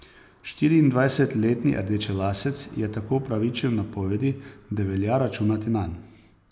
Štiriindvajsetletni rdečelasec je tako upravičil napovedi, da velja računati nanj.